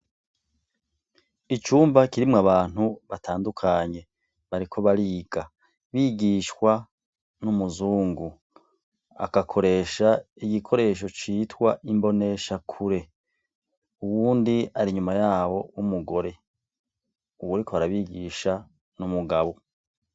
Icumba kirimwo abantu batandukanye bariko bariga, bigishwa n'umuzungu, agakoresha igikoresho citwa imboneshakure, uyundi ari inyuma yabo w'umugore. Uwuriko arabigisha ni umugabo.